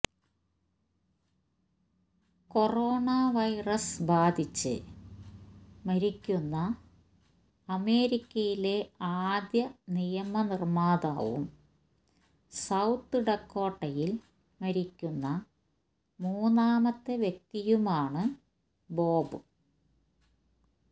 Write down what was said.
corona virus ബാധിച്ച് മരിക്കുന്ന അമേരിക്കയിലെ ആദ്യ നിയമ നിർമ്മാതാവും സൌത്ത് ഡക്കോട്ടയിൽ മരിക്കുന്ന മൂന്നാമത്തെ വ്യക്തിയുമാണ് ബോബ്